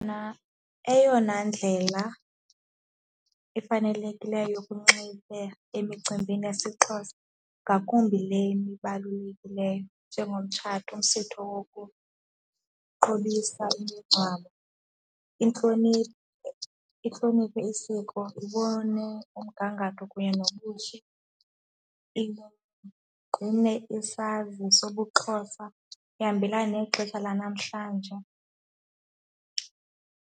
Mna eyona ndlela efanelekileyo yokunxiba emicimbini yesiXhosa ngakumbi lena ibalulekileyo njengomtshato, umsitho wokuqobisa imingcwabo, intlonipho, intlonipho isiko, ibone umgangatho kunye nobuhle. Iye igcine isazi sobuXhosa, ihambelana nexesha lanamhlanje.